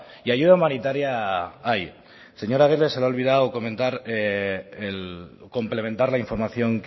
ayuda humanitaria hay señor aguirre se le ha olvidado complementar la información